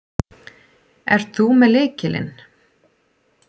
Ert þú með lykilinn?